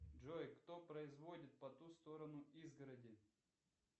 джой кто производит по ту сторону изгороди